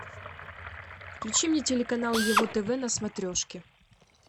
включи мне телеканал его тв на смотрешке